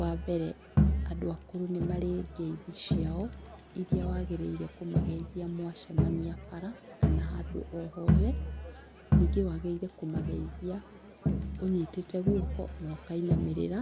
Wa mbere andũ akũrũ nĩ marĩ ngeithi ciao iria wagĩrĩire kũmageithia mwacemania bara kana handũ o hothe, ningĩ wagĩrĩire kũmageithia ũnyitĩte guoko na ũkainamĩrĩra